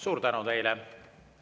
Suur tänu teile!